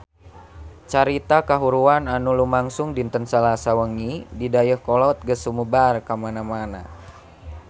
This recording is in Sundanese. Carita kahuruan anu lumangsung dinten Salasa wengi di Dayeuhkolot geus sumebar kamana-mana